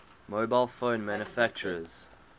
mobile phone manufacturers